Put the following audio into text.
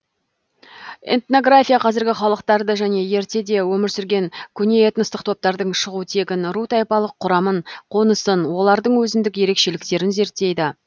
этнография қазіргі халықтарды және ертеде өмір сүрген көне этностық топтардың шығу тегін ру тайпалық құрамын қонысын олардың өзіндік ерекшеліктерін зерттейді